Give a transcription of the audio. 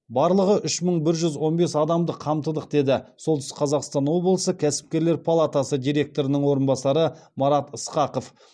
барлығы үш мың бір жүз он бес адамды қамтыдық деді солтүстік қазақстан облысы кәсіпкерлер палатасы директорының орынбасары марат ысқақов